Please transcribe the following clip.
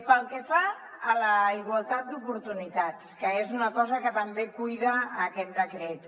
pel que fa a la igualtat d’oportunitats que és una cosa que també cuida aquest decret